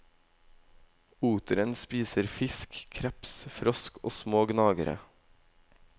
Oteren spiser fisk, kreps, frosk og små gnagere.